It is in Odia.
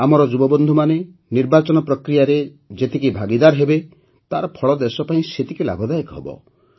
ଆମର ଯୁବବନ୍ଧୁମାନେ ନିର୍ବାଚନ ପ୍ରକ୍ରିୟାରେ ଯେତିକି ଭାଗୀଦାର ହେବେ ତାର ଫଳ ଦେଶ ପାଇଁ ସେତିକି ଲାଭଦାୟକ ହେବ